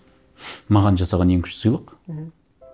маған жасаған ең күшті сыйлық мхм